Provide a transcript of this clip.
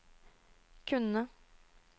kunne